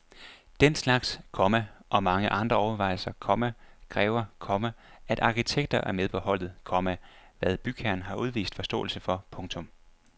Den slags, komma og mange andre overvejelser, komma kræver, komma at arkitekter er med på holdet, komma hvad bygherren har udvist forståelse for. punktum